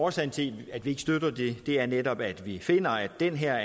årsagen til at vi ikke støtter det er netop at vi finder at det her